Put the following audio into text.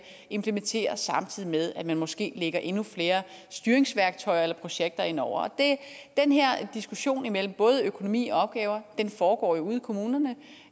implementeres samtidig med at man måske lægger endnu flere styringsværktøjer eller projekter indover den her diskussion mellem både økonomi og opgaver foregår jo ude i kommunerne